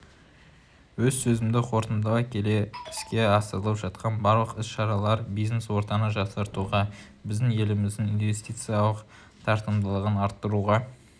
өз сөзімді қортындылай келе іске асырылып жатқан барлық іс-шаралар бизнес-ортаны жақсартуға біздің еліміздің инвестициялық тартымдылығын арттыруға